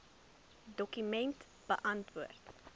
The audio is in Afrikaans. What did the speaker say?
dokument beantwoord